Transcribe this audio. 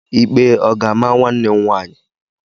Ikpe ọ ga-ama nwanne m nwaanyị?